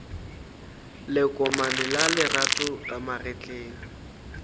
lekomane la lerato ka magetleng